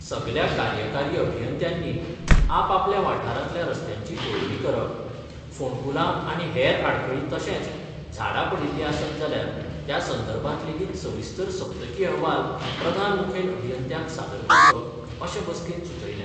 सगल्या कार्यकारी अभियंत्यांनी आपापल्या वाठारातल्या रस्त्यांची पळोवणी करप, फोणकुलां आनी हेर आडखळी तशेंच झाडां पडिल्ली आसत जाल्यार त्या संदर्भात लेगीत सविस्तर सप्तकी अहवाल प्रधान मुखेल अभियंत्यांक सादर करचो अशें बसकेंत सुचयलें.